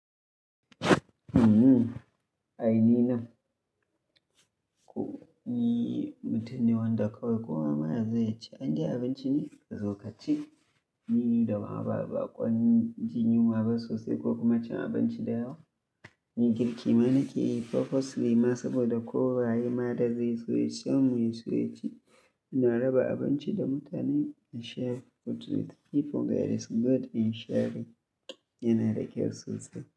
Hummhum, aini nan. Nii mutane wanda kawai kowa ma yazo yaci, an yi abinci ne? Kazo kaci, don ni ba ba baƙon jin yunwa ba sosai ko kuma cin abinci da yawa. Ni girki ma na ke yi purposely masu da ko waye ma da zai so ya sha mu ya so ya ci. Ina raba abinci da mutane a share mutum. Ehto ga da su gode in share yana da kyau sosai.